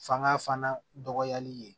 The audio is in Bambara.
Fanga fana dɔgɔyali ye